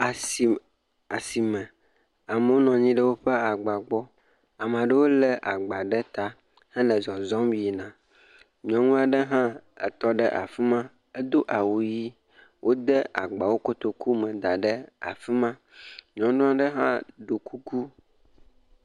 Asi, asime amewo nɔnyi ɖe woƒe agba gbɔ, ameaɖewo le agba ɖe ta hele zɔzɔm yina. Nyɔnu aɖe hã etɔ afima, edo awu ɣe, wode agbawo kotoku me da ɖe afima. Nyɔnu aɖe hã ɖɔ kuku.